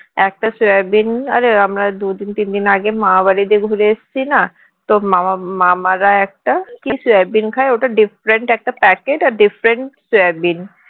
একটা সয়াবিন আরে আমরা দুই দিন তিন দিন আগে মামা বাড়ি থেকে ঘুরে এসেছি না তো মা~ মামারা একটা কি সয়াবিন খায় ওটা different একটা packet আর different সয়াবিন